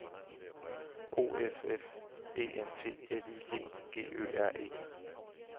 O F F E N T L I G G Ø R E